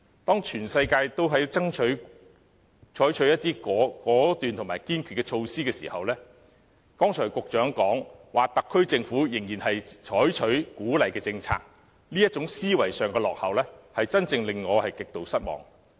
當全世界都在採取果斷和堅決的措施時，局長剛才表示特區政府仍然採取鼓勵政策，這種思維上的落後，才真正令我極度失望。